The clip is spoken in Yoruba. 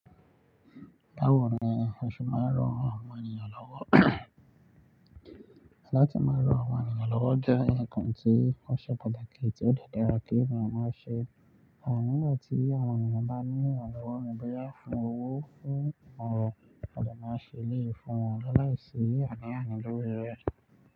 Báwo ni o ṣe máa ń ran àwọn ènìyàn lọ́wọ́? Látí máa rán àwọn ènìyàn lọ́wọ́ jẹ́ ǹkan tí ó ṣe pàtàkì tí ó dára kí èèyàn máa ṣe. À nígbà tí àwọn ènìyàn bá ní ìrànlọ́wọ́ ni bóyá fún owó fún ọ̀rọ̀, a máa ṣe lé fún wọn láìsí àní àní lórí rẹ̀